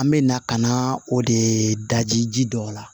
An bɛ na ka na o de daji ji dɔ la